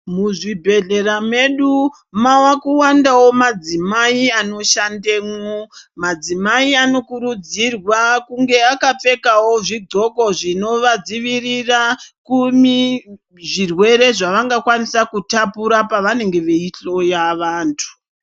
Muzvibhehlera medu mava kuwandawo madzimai anoshandemwo, madzimai anokurudzirwa kunge akapfekawo zvidhloko zvinovadzivirira zvirwere zvavangakwanisa kutapura pavanenge veihloya vantu.